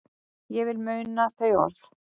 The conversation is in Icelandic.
Ég vil muna þau orð.